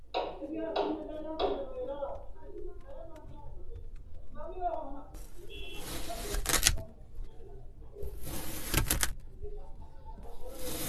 Kuni rosu mini giddo rosano rossanni noo kifile ikkitanna rosisancho rosiissanni xa'mitanna rosaano anga kaysanni no gedena rosisanchote mule kolishu saled no gede leellanno.